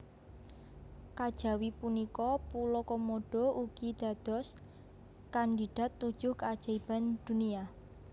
Kajawi punika pulo Komodo ugi dados kandidat tujuh keajaiban dunia